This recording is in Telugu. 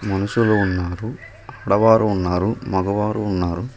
మనుషులు ఉన్నారు ఆడవారు ఉన్నారు మగవారు ఉన్నారు.